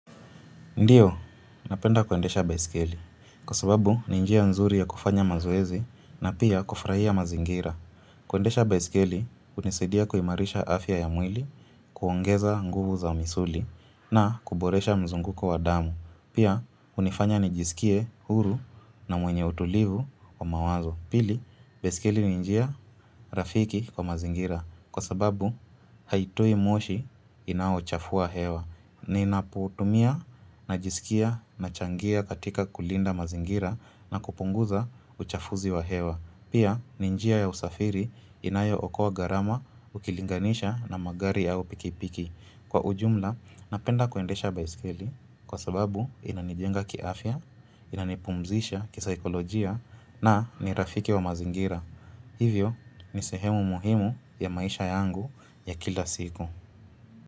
Ndiyo, napenda kuendesha baiskeli. Kwa sababu, ninjia nzuri ya kufanya mazoezi na pia kufurahia mazingira. Kuendesha baiskeli, hunisidia kuimarisha afya ya mwili, kuongeza nguvu za misuli na kuboresha mzunguko wa damu. Pia, hunifanya nijisikie huru na mwenye utulivu wa mawazo. Pili, baisikeli ninjia rafiki kwa mazingira. Kwa sababu, haitui moshi inaochafua hewa. Ninaputumia, najisikia, nachangia katika kulinda mazingira na kupunguza uchafuzi wa hewa Pia ninjia ya usafiri inayo okoa gharama, ukilinganisha na magari au pikipiki Kwa ujumla, napenda kuendesha baiskeli kwa sababu inanijenga kiafya, inanipumzisha kisaikolojia na nirafiki wa mazingira Hivyo, nisehemu muhimu ya maisha yangu ya kila siku.